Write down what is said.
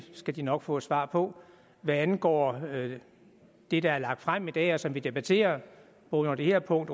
skal de nok få et svar på hvad angår det der er lagt frem i dag og som vi debatterer under det her punkt